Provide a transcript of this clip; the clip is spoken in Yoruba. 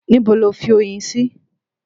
Níbo lo fi oyin sí?